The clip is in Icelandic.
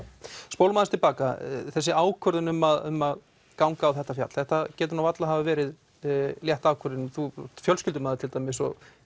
spólum aðeins tilbaka þessi ákvörðun um að um að ganga á þetta fjall það getur nú varla hafa verið létt ákvörðun þú ert fjölskyldumaður til dæmis og